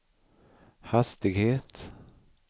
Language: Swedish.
hastighet